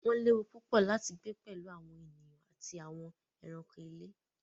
Wọ́n léwu púpọ̀ láti gbé pẹ̀lú àwọn ènìyàn àti àwọn ẹranko ilé.